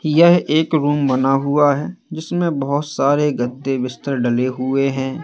यह एक रूम बना हुआ है जिसमें बहोत सारे गद्दे बिस्तर डले हुए हैं।